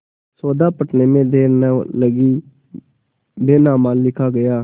सौदा पटने में देर न लगी बैनामा लिखा गया